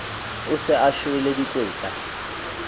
o se a shwele dikweta